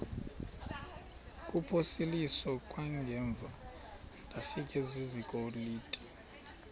kuphosiliso kwangaemva ndafikezizikotile